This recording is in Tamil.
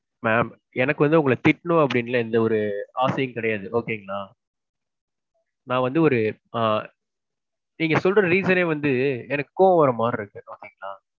mam. எனக்கு வந்து உங்கள திட்டனும் அப்பிடி எல்லாம் எந்த ஒரு ஆசையும் கிடையாது. okay ங்களா. நான் வந்து ஒரு ஆ. நீங்க சொல்ற reason யே வந்து எனக்கு கோவம் வர்ற மாதிரி இருக்கு. okay ங்களா.